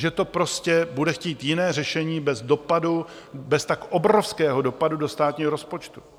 Že to prostě bude chtít jiné řešení bez dopadu, bez tak obrovského dopadu do státního rozpočtu.